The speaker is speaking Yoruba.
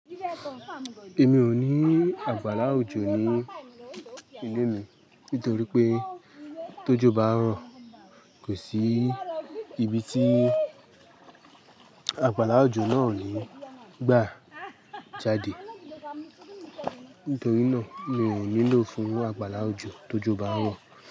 Èmi ò ní àgbàlá òjò ní ilé mi nítorí pé t'ójọ bá ro, kò sí ibi tí àgbàlá òjò náà ò ní gbà jáde. Nítorí náà mi ò nílò fún àgbàlá òjò tó jọ bá ràn.